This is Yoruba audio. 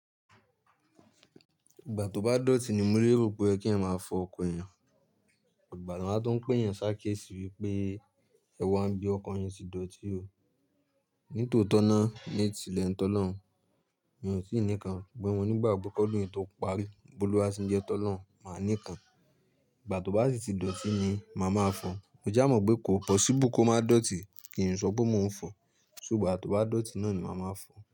Ìgbà tó bá dọ̀tí ni mo lè rò pé kí ẹ máa fọ ọkọ̀ yẹn. Ọ̀gbàlà máa tó ń pé yẹn sáré ké sí wípé, "ẹwà ń bí ọkọ̀ yẹn tí dọ̀tí o." Ní tòótọ́ ná, ní ìsìlẹ̀ ntọ́ lọ́hùn, mi ò sì ní kàn. Gbé wọn nígbà ìgbẹ́kọ́ lóyún tó parí, Boluwàsí ń jẹ tọ́ lọ́hùn, màá ní kàn. Ìgbà tó bá sì ti dọ̀tí ni màá máa fọ̀. Mo já mọ̀ pé kò pọ̀síbu pé kó má dọ̀tí kì í sọ pé mò ń fọ̀. Ṣùgbà tó bá dọ̀tí ná ní màá máa fọ̀.